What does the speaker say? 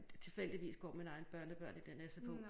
Tilfældigvis går mine egne børnebørn i den sfo